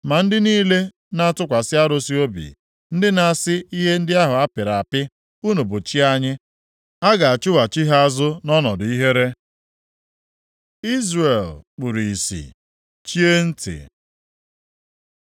Ma ndị niile na-atụkwasị arụsị obi, ndị na-asị ihe ndị ahụ a pịrị apị, ‘Unu bụ chi anyị,’ a ga-achụghachi ha azụ nʼọnọdụ ihere. Izrel kpuru ìsì, chie ntị